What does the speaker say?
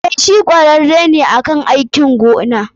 Eh, shi kwararre ne akan aikin noma.